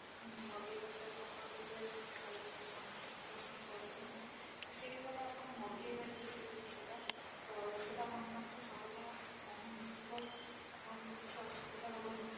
ମଗେଇପାରିବେ ଆପଣଙ୍କର ଯଉଟା ବି ଆପଣ ଖାଇବା ପାଇଁ ଚାହୁଁଛନ୍ତି ପସନ୍ଦ କରୁଛନ୍ତି ତ ସେଇ ଭଳିଆ ଆପଣ ମଗେଇପାରିବେ ସେଇ ଜିନିଷ ଟା ତ ସେଇଟା ଆପଣଙ୍କ ପାଖରେ ସହଜ ରେ ଆସିକି ପହଞ୍ଚିଯିବ ଆପଣଙ୍କୁ କିଛି ଅସୁବିଧା ହବ ନାହିଁ